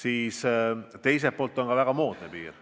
Ning teiselt poolt on see ka väga moodne piir.